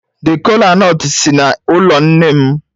The kola-nut si n'ụlọ nne m.